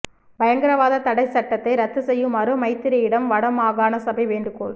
பயங்கரவாதத் தடைச் சட்டத்தை ரத்துச் செய்யுமாறு மைத்திரியிடம் வடமாகாண சபை வேண்டுகோள்